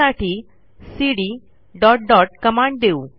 त्यासाठी CD dot dot command देऊ